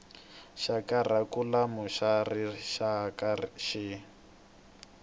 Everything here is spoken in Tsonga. xa kharikhulamu xa rixaka xi